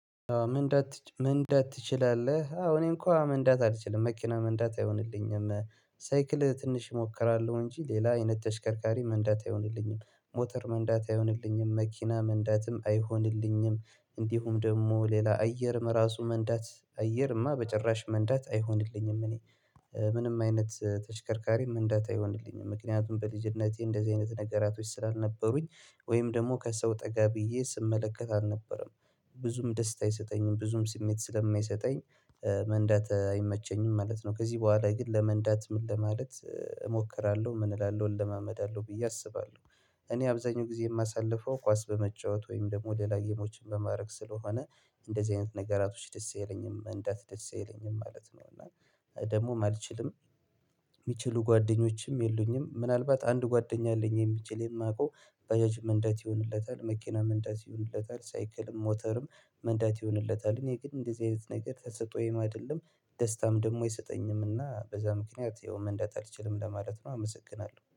ምን እንዳት ምን እንዳት ትችላለህ? አዎ እኔም እኮ መንዳት አልችልም መኪና መንዳት አይሆንልኝም። ሳይክል ትንሽ እሞክራለሁ እንጂ ሌላ አይነት ተሽከርካሪ መንዳት አይሆንልኝም። ሞተር መንዳት አይሆንልኝም መኪና መንዳትም አይሆንልኝም። እንዲሁም ደግሞ ሌላ አየርም ራሱ መንዳት አየርማ በጭራሽ መንዳት አይሆንልኝም። ምንም አይነት ተሽከርካሪ መንዳት አይሆንልኝም። ምክንያቱም በልጅነቴ እንደዚህ አይነት ነገራቶች ስላልነበሩኝ ወይም ደግሞ ከሰው ጠጋ ብዬ ስመለከት አልነበረም ብዙም ደስታ አይሰጠኝም ብዙም ስሜት ስለማይሰጠኝ። መንዳት አይመቸኝም ማለት ነው። ከዚህ በኋላ ግን ለመንዳት ምን ለማለት እሞክራለሁ ምን እላለሁ እለማመዳለሁ ብዬ አስባለሁ። እኔ አብዛኛው ጊዜ የማሳልፈው ኳስ በመጫወት ወይም ደግሞ ደላጊሞችን በማድረግ ስለሆነ እንደዚህ አይነት ነገራቶች ደስ አይለኝም መንዳት ደስ አይለኝም ማለት ነው። እና ደግሞ አልችልም። የሚችሉ ጓደኞችም የሉኝም ምናልባት አንድ ጓደኛ አለኝ የሚችል የማውቀው በጃጅ መንዳት ይሆንለታል መኪና መንዳት ይሆንለታል ሳይክልም ሞተርም መንዳት ይሆንለታልን? የግድ እንደዚህ አይነት ነገር ተሰጥኦኝ አይደለም። ደስታም ደግሞ የሰጠኝም እና በዛ ምክንያት ይኸው መንደት አልችልም ለማለት ነው። አመሰግና